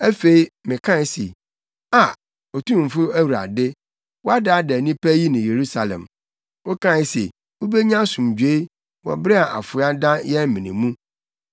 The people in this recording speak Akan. Afei, mekae se, “Aa, Otumfo Awurade, woadaadaa nnipa yi ne Yerusalem, wokae se, ‘Mubenya asomdwoe,’ wɔ bere a afoa da yɛn mene mu.”